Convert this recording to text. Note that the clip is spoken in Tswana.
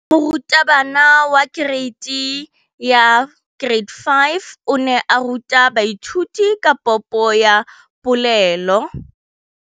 Moratabana wa kereiti ya 5 o ne a ruta baithuti ka popô ya polelô.